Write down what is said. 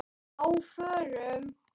Á FÖRUM?